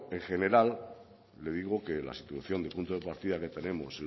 pero en general le digo que la situación de punto de partida que tenemos